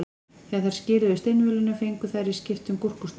Þegar þær skiluðu steinvölunum fengu þær í skiptum gúrkusneið.